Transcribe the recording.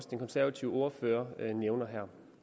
den konservative ordfører nævner